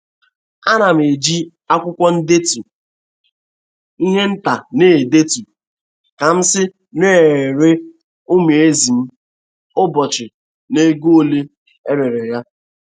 Ana m eji akwụkwọ ndetu ihe nta na-edetu ka m si na-ere umu ezi m ụbọchị na ego ole e rere ya.